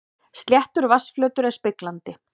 Sléttur vatnsflötur er speglandi.